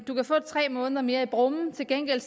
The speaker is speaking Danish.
du kan få tre måneder mere i brummen til gengæld